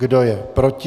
Kdo je proti?